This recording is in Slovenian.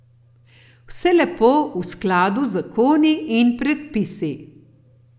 Vse lepo v skladu z zakoni in predpisi.